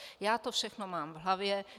Já to všechno mám v hlavě.